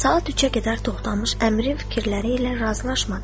Saat 3-ə qədər Toxdamış əmirin fikirləri ilə razılaşmadı.